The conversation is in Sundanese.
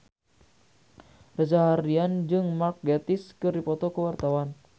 Reza Rahardian jeung Mark Gatiss keur dipoto ku wartawan